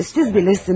Siz bilirsiniz.